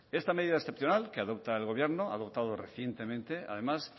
esta medida excepcional que adopta el gobierno ha adoptado recientemente además